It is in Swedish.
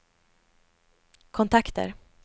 kontakter